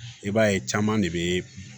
I b'a ye caman de bɛ